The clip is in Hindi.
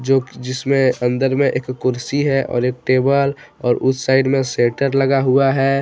जो कि जिसमें अंदर में एक कुर्सी है और एक टेबल और उस साइड में सेटर लगा हुआ है।